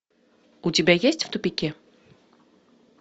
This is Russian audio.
у тебя есть в тупике